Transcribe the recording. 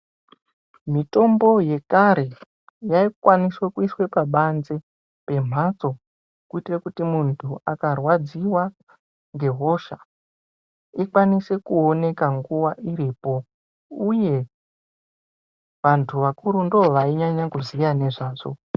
Mitombo yekare yaikwaniswa kuiswe pabanze pemhatso kuitire kuti munhu akarwadziwa ngehosha ikwanise kuoneka nguva iripo, uye vantu vakuru ndivo vainyanya kuziya ngezvazvo.